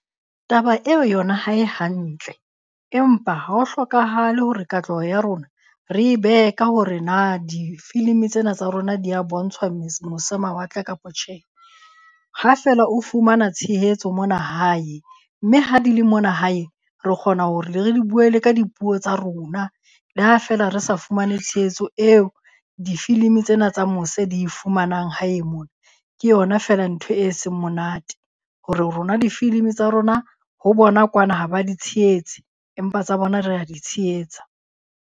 Taba eo yona ha e hantle, empa ha ho hlokahale hore katleho ya rona re e behe ka hore na difilimi tsena tsa rona dia bontshwa mose mawatle kapo tjhe. Ha feela o fumana tshehetso mona hae mme ha di le mona hae re kgona hore re di bue le ka dipuo tsa rona, le ha feela re sa fumane tshehetso eo difilimi tsena tsa mose di e fumanang hae mona. Ke yona feela ntho e seng monate hore rona difilimi tsa rona ho bona kwana ha ba di tshehetse empa tsa bona rea di tshehetsa.